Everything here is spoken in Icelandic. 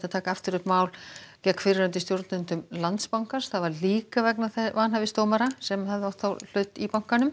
taka aftur upp mál gegn fyrrverandi stjórnendum Landsbankans líka vegna vanhæfis dómara sem höfðu átt hlut í bankanum